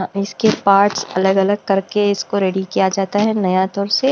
इसके पार्ट्स अलग-अलग करके इसको रेडी किया जाता है नया तौर से।